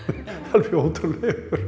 alveg ótrúlegur